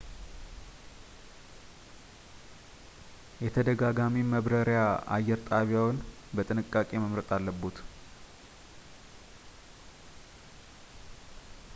የተደጋጋሚ መብራሪያ አየር ጣቢያዎን በጥንቃቄ መምረጥ አለብዎት